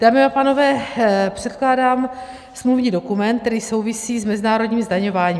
Dámy a pánové, předkládám smluvní dokument, který souvisí s mezinárodním zdaňováním.